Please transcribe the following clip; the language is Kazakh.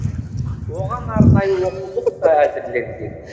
оған арнайы оқулық та әзірленген